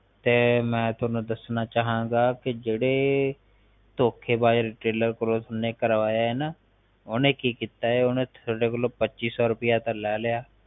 ਤੇ ਮੈ ਤੁਹਾਨੂੰ ਦੱਸਣਾ ਚਾਹਾਂ ਗਾ ਕਿ ਜਿਹੜੇ ਥੋਖੇਬਾਜ retailor ਕੋ ਜਿੰਨੇ ਕਰਵਾਇਆ ਆ ਨਾ ਓਹਨੇ ਕਿ ਕੀਤਾ ਐ ਓਹਨੇ ਤੁਹਾਡੇ ਕੋਲੋਂ ਪੱਚੀ ਸੋ ਰੁਪਇਆ ਤਾਂ ਲੈ ਲਿਆ